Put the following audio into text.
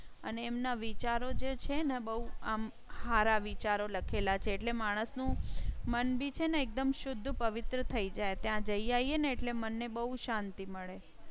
અને એમના વિચારો જે છે ને બહુ આમ સારા વિચારો લખેલા છે એટલે માણસ નું મંદિર છે ને એકદમ શુદ્ધ પવિત્ર થઇ જાય ત્યાં જઈએ ને એટલે મને બહુ શાંતિ મળે.